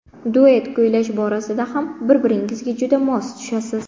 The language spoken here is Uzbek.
Duet kuylash borasida ham bir-biringizga juda mos tushasiz.